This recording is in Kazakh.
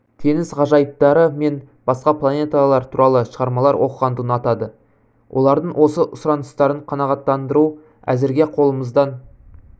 теңіз ғажайыптары мен басқа планеталар туралы шығармалар оқығанды ұнатады олардың осы сұраныстарын қанағаттандыру әзірге қолымыздан